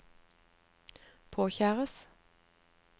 påkjæres